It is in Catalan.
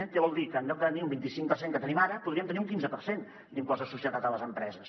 què vol dir que en lloc de tenir un vint i cinc per cent que tenim ara podríem tenir un quinze per cent d’impost de societats a les empreses